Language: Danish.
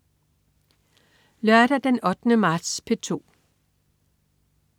Lørdag den 8. marts - P2: